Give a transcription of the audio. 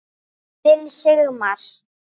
Þinn Sigmar.